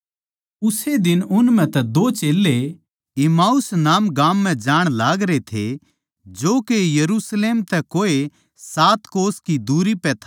उस्से दिन उन म्ह तै दो चेल्लें इम्माऊस नाम गाम म्ह जाण लागरे थे जो यरुशलेम तै कोई सात कोंस की दुरी पै था